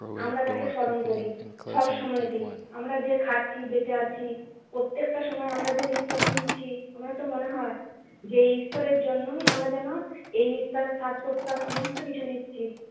আমরা তাকে স্মরণ করি সব সময় তেই। আমরা যে খাচ্ছি, বেঁচে আছি, প্রত্যেকটা সময় আমরা যে নিঃশ্বাস নিচ্ছি, আমার তো মনে হয় যে ঈশ্বরের জন্যই আমরা যেন এই নিশ্বাস, শ্বাস-প্রশ্বাস সমস্ত কিছু নিচ্ছি।